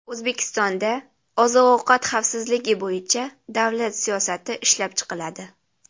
O‘zbekistonda oziq-ovqat xavfsizligi bo‘yicha davlat siyosati ishlab chiqiladi.